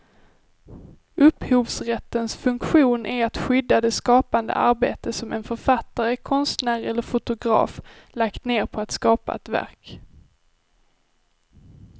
Upphovsrättens funktion är att skydda det skapande arbete som en författare, konstnär eller fotograf lagt ned på att skapa ett verk.